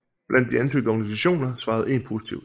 Blandt de ansøgte organisationer svarede en positivt